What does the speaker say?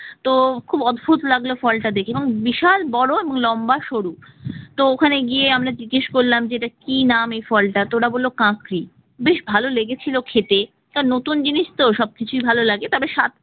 তো খুব অদ্ভুত লাগলো ফলটা দেখে এবং বিশাল বড় এবং লম্বা সরু তো ওখানে গিয়ে আমরা জিজ্ঞাসা করলাম যেটা কি নাম এই ফল টার ওরা বলল কাকড়ি, বেশ ভালো লেগেছিল খেতে একটা নতুন জিনিস তো সবকিছু ভালো লাগে তবে স্বাদ